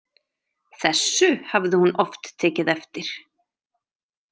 Þessu hafði hún oft tekið eftir.